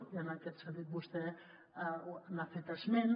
i en aquest sentit vostè n’ha fet esment